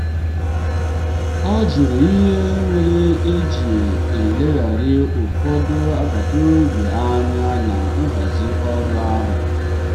ọ jụrụ ihe mere e ji eleghara ụfọdụ agbata obi anya na nhazi ọrụ ahụ.